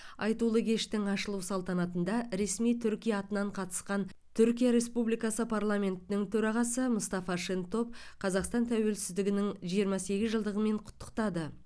айтулы кештің ашылу салтанатында ресми түркия атынан қатысқан түркия республикасы парламентінің төрағасы мұстафа шентоп қазақстан тәуелсіздігінің жиырма сегіз жылдығымен құттықтады